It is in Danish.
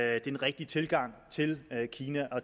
er den rigtige tilgang til kina